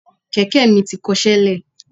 Kẹ̀kẹ́ mi ti kọṣẹ́ lẹ̀.